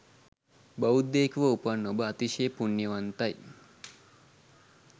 බෞද්ධයකුව උපන් ඔබ අතිශය පුණ්‍යවන්තයි.